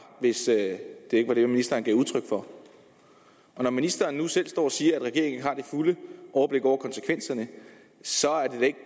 hvis det ikke var det ministeren gav udtryk for når ministeren nu selv står og siger at regeringen ikke har det fulde overblik over konsekvenserne så er det